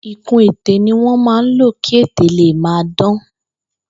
Ìkun-ètè ni wọ́n ma ń lò kì ètè le màa dàn.